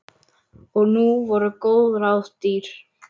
Og nú voru góð ráð dýr.